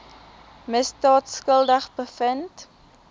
misdaad skuldig bevind